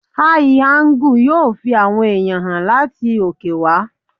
Áí angú yóò fi àwọn ẹ̀yàn hàn láti òkè wá.